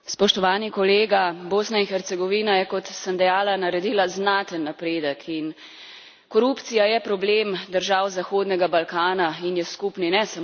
Spoštovani kolega, Bosna in Hercegovina je, kot sem dejala, naredila znaten napredek in korupcija je problem držav zahodnega Balkana in je skupni ne